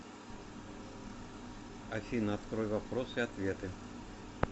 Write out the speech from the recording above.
афина открой вопросы и ответы